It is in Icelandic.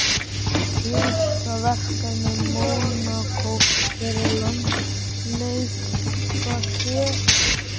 Síðasta verkefni Mónakó fyrir landsleikjahlé?